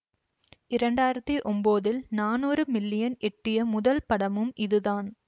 இரண்டாயிரத்தி ஒம்போதில் நானூறு மில்லியன் எட்டிய முதல் படமும் இது தான்